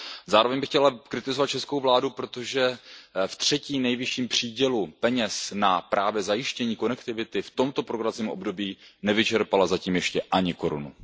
Zároveň bych chtěl kritizovat českou vládu, protože v třetím nejvyšším přídělu peněz na zajištění konektivity v tomto programovacím období nevyčerpala zatím ještě ani korunu.